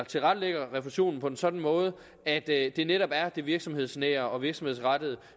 tilrettelægger refusionen på en sådan måde at at det netop er det virksomhedsnære og virksomhedsrettede